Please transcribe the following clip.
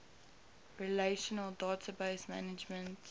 relational database management